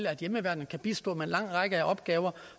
at hjemmeværnet kan bistå med lang række opgaver